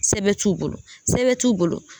Sɛbɛn t'u bolo, sɛbɛn t'u bolo